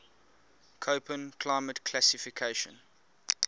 koppen climate classification